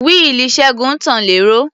Wíìlì Ṣẹ́gun tàn lẹ́rọ̀.